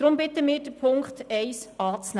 Deshalb bitten wir Sie, den Punkt 1 anzunehmen.